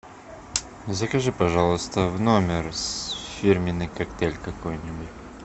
закажи пожалуйста в номер фирменный коктейль какой нибудь